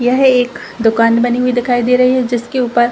यह एक दुकान बनी हुई दिखाई दे रही है जिसके ऊपर --